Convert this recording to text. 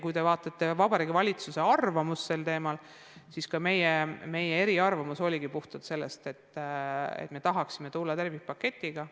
Kui te tutvute Vabariigi Valitsuse arvamusega sel teemal, siis meie eriarvamus oligi puhtalt see, et me tahaksime välja tulla tervikpaketiga.